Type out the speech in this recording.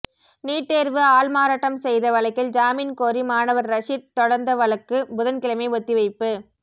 NEET தேர்வு ஆள்மாறாட்டம் செய்த வழக்கில் ஜாமீன் கோரி மாணவர் ரஷீத் தொடர்ந்த வழக்கு புதன் கிழமை ஒத்திவைப்பு